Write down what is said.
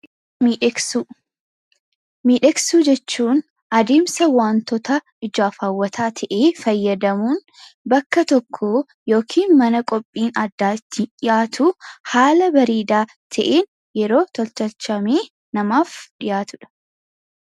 Miidhagsuu jechuun adeemsa wantoota ijaaf hawwataa ta'e fayyadamuun bakka tokkoo yookiin mana qophiin addaa itti dhiyaatu haala bareedaa ta'een yeroo tottolchamee namaaf dhiyaatudha.